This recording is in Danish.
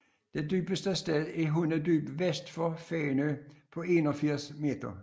Det dybeste sted er Hundedyb vest for Fænø på 81 m